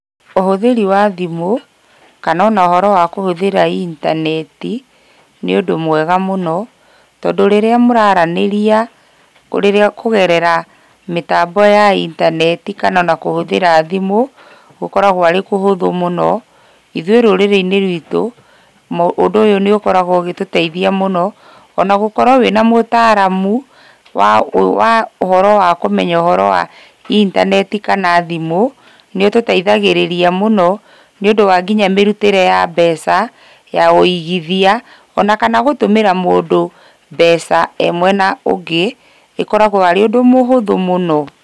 Ũhũthĩri wa thimũ, kana ona ũhoro wa kũhũthĩra intaneti, nĩũndũ mwega mũno, tondũ rĩrĩa mũraranĩria, kũ rĩrĩa kũgerera mĩtambo ya intaneti, kana ona kũhũthĩra thimũ, gũkoragwo arĩ kũhũthũ mũno, ithuĩ rũrĩrĩinĩ ruitũ, ũndũ ũyũ nĩũkoragwo ũgĩtũteithia mũno, ona gũkorwo wĩna mũtaramu, wa wa ũhoro wa kũmenya ũhoro wa intaneti kana thimũ, nĩũtũteithagĩrĩria mũno, nĩũndũ wa nginya mĩrutĩre ya mbeca, ya wĩigithia, ona kana gũtũmĩra mũndũ ,mbeca e mwena ũngĩ ĩkoragwo ĩ ũndũ mũhũthũ mũno.